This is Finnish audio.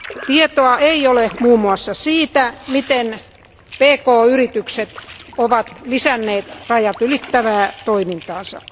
Tietoa ei ole muun muassa siitä, miten pk yritykset ovat lisänneet rajatylittävää toimintaansa.